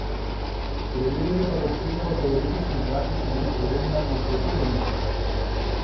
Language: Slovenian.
Preverjanje pa bo obsegalo teoretični in praktični del preverjanja usposobljenosti.